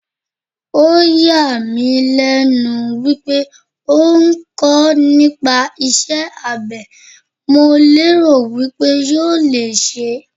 Ó yà mí lẹ́nu wípé ó ń kọ́ nípa iṣẹ́ abé, mo lérò wípé yóò le ṣẹ́.